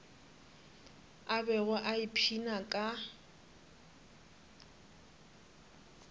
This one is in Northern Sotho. a bego a ipshina ka